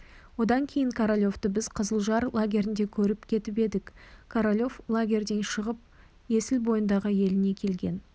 одан кейін королевті біз қызылжар лагерінде көріп кетіп едік королев лагерьден шығып есіл бойындағы еліне келген